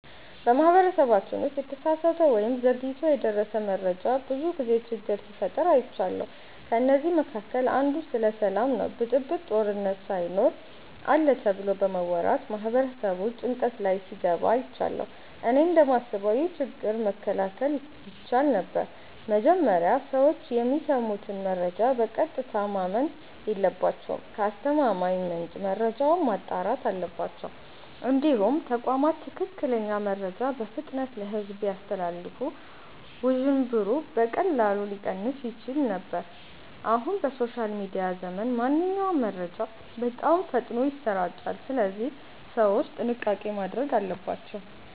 በማህበረሰባችን ውስጥ የተሳሳተ ወይም ዘግይቶ የደረሰ መረጃ ብዙ ጊዜ ችግር ሲፈጥር አይቻለሁ። ከእነዚህ መካከል አንዱ ስለ ሰላም ነው ብጥብጥ፣ ጦርነት ሳይኖር አለ ተብሎ በመወራት ማህበረሰቡ ጭንቀት ላይ ሲገባ አይቻለሁ። እኔ እንደማስበው ይህ ችግር መከላከል ይቻል ነበር። መጀመሪያ ሰዎች የሚሰሙትን መረጃ በቀጥታ ማመን የለባቸውም። ከአስተማማኝ ምንጭ መረጃውን ማጣራት አለባቸው። እንዲሁም ተቋማት ትክክለኛ መረጃን በፍጥነት ለሕዝብ ቢያስተላልፉ ውዥንብሩ በቀላሉ ሊቀንስ ይችል ነበር። አሁን በሶሻል ሚዲያ ዘመን ማንኛውም መረጃ በጣም ፈጥኖ ይሰራጫል፣ ስለዚህ ሰዎች ጥንቃቄ ማድረግ አለባቸው።